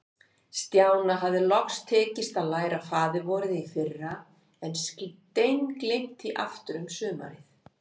Stjána hafði loks tekist að læra Faðir-vorið í fyrra, en steingleymt því aftur um sumarið.